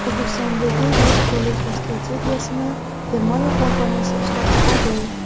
O‘zbekistondagi yo‘l qurilishi strategiyasini Germaniya kompaniyasi ishlab chiqadi.